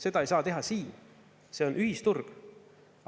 Seda ei saa teha siin, see on ühisturg.